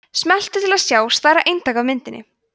smelltu til að sjá stærra eintak af myndinni